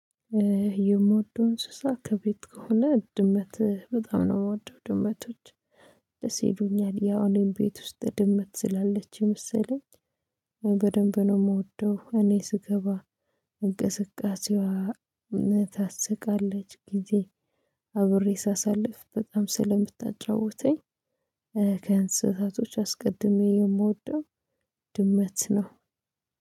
የምወደው እንስሳ ከቤት ከሆነ ድመት በጣም ነው የምወደው ድመቶች። ለሴዶኛል ያው እኔም ቤት ውስጥ ድመት ስላለች የመሰለኝ። በደንብ ነው የምወደው እኔ ስገባ እንቅስቃሴዋ እምነት ታስቃለች ጊዜ አብሬ ሳሳልፍ በጣም ስለምታጫውተኝ። ከእንስሳቶች አስቀድሜ የምወደው ነው።